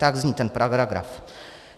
Tak zní ten paragraf.